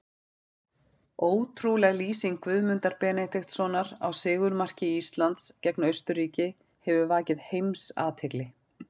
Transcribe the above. Ótrúleg lýsing Guðmundar Benediktssonar á sigurmarki Íslands gegn Austurríki hefur vakið heimsathygli.